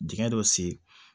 Dingɛ dɔ sen